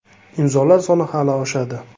Imzolar soni hali oshadi.